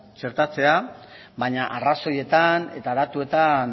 txertatzea baina arrazoietan eta datuetan